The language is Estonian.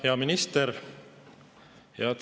Hea minister!